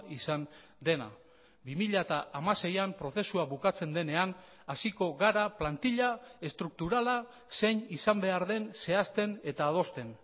izan dena bi mila hamaseian prozesua bukatzen denean hasiko gara plantila estrukturala zein izan behar den zehazten eta adosten